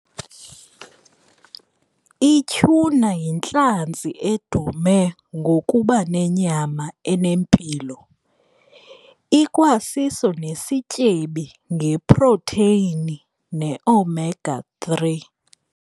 I-tuna yintlanzi edume ngokuba nenyama enempilo, ikwasiso nesityebi ngeprotheyini ne-omega three.